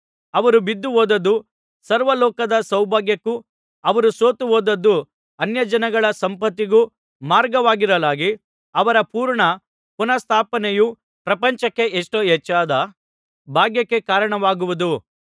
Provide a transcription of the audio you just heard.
ಅವರು ಬಿದ್ದುಹೋದದ್ದು ಸರ್ವಲೋಕದ ಸೌಭಾಗ್ಯಕ್ಕೂ ಅವರು ಸೋತುಹೋದದ್ದು ಅನ್ಯಜನಗಳ ಸಂಪತ್ತಿಗೂ ಮಾರ್ಗವಾಗಿರಲಾಗಿ ಅವರ ಪೂರ್ಣ ಪುನಃಸ್ಥಾಪನೆಯು ಪ್ರಪಂಚಕ್ಕೆ ಎಷ್ಟೋ ಹೆಚ್ಚಾದ ಭಾಗ್ಯಕ್ಕೆ ಕಾರಣವಾಗುವುದು